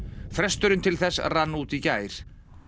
fresturinn til þess rann út í gær